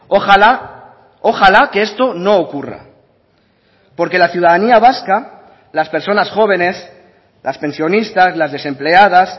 ojala ojala que esto no ocurra porque la ciudadanía vasca las personas jóvenes las pensionistas las desempleadas